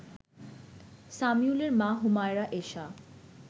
সামিউলের মা হুমায়রা এশা